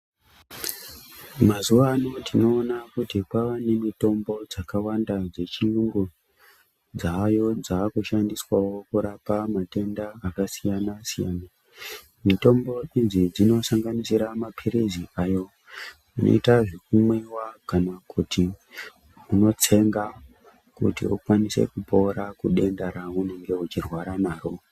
Mazuva ano tinoona kuti kwaane mitombo dzakawanda dzechiyungu dzaayo dzaakushandiswawo kurapa matenda akasiyana siyana mitombo idzi dzinosanganisira mapilizi ayo anoita zvekumwewa kana kuti unotsenga kuti ulwanise kupora kudenda raunenge uchirwara naro